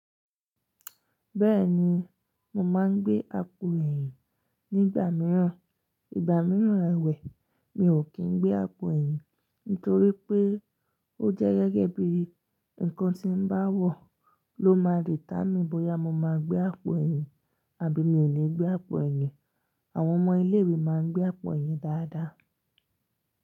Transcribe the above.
Bẹ́ẹ̀ni, mo máa ń gbé àpò ẹ̀yìn nígbà mìíràn, ìgbà mìíràn àwẹ̀ mi ò kí ń gbé àpò ẹ̀yìn nítorí pé ó jẹ́ gẹ́gẹ́ bí ǹkan tí bá wọ̀ ló máa ditámi bóyá mo máa gbé àpò ẹ̀yìn àbí mi ò ní gbé àpò ẹ̀yìn. Àwọn ọmọ ilé ìwé máa ń gbé àpò ẹ̀yìn dáadáa.